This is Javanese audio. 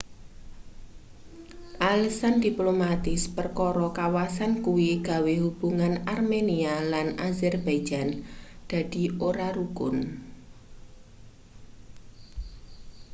alesan diplomatis perkara kawasan kuwi gawe hubungan armenia lan azerbaijan dadi ora rukun